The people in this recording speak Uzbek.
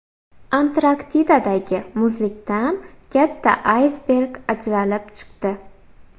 Antarktidadagi muzlikdan katta aysberg ajralib chiqdi .